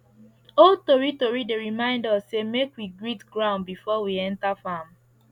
old tori tori dey remind us say make we greet ground before we enter farm